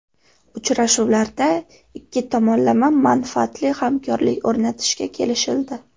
Uchrashuvlarda ikki tomonlama manfaatli hamkorlik o‘rnatishga kelishildi.